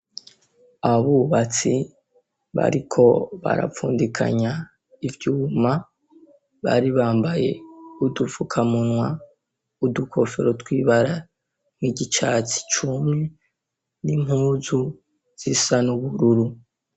Abubatsi, bariko barapfundikanya ivyuma, baribambaye udufukamunwa, udukofero tw'ibara ry'icatsi cumye, n'impuzu zisa n'ubururu.